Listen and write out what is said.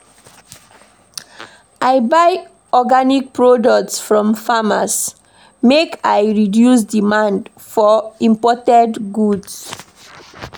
I dey buy organic products from farmers make I reduce demand for imported goods.